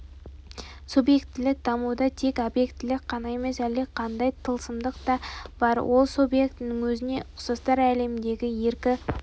субъектілік дамуда тек объектілік қана емес әлдеқандай тылсымдық та бар ол субъектінің өзіне ұқсастар әлеміндегі еркі